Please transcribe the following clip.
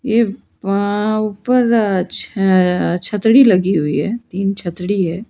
ये वहां उपर छ अ छतड़ी लगी हुई है तीन छतड़ी है।